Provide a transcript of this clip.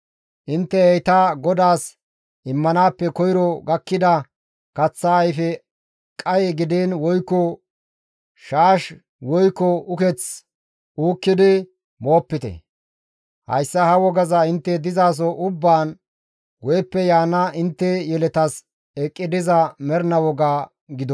Intte heyta GODAAS immanaappe koyro gakkida kaththa ayfe qaye gidiin woykko shaash woykko uketh uukkidi moopite; hayssa ha wogaza intte dizaso ubbaan guyeppe yaana intte yeletas eqqi diza mernaa woga gido.